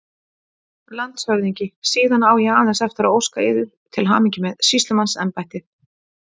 LANDSHÖFÐINGI: Síðan á ég aðeins eftir að óska yður til hamingju með sýslumannsembættið!